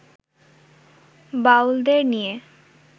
বাউলদের নিয়ে